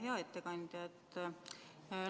Hea ettekandja!